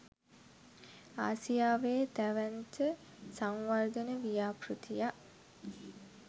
ආසියාවේ දැවැන්ත සංවර්ධන ව්‍යාපෘතියක්.